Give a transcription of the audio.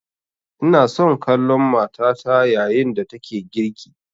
Ina son kallon matata yayin da take girki